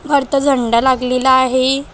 झेंडा लागलेला आहे.